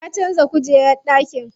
Ya canza kujerar ɗakin.